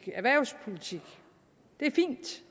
erhvervspolitik